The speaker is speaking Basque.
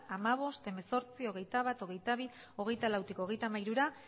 hamabost hemezortzi hogeita bat hogeita bi hogeita lautik hogeita hamairura